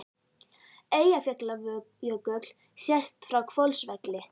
Eyjafjallajökull sést frá Hvolsvelli.